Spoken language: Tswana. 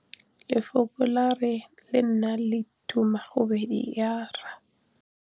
Lefoko la rre, le na le tumammogôpedi ya, r.